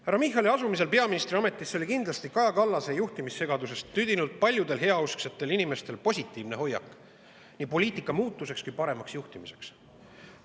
Härra Michali asumisel peaministriametisse oli kindlasti paljudel heausksetel inimestel Kaja Kallase juhtimissegadusest tüdinult positiivne hoiak, nii poliitika muutuse kui ka parema juhtimise.